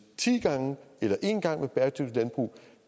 ti gange eller en gang med bæredygtigt landbrug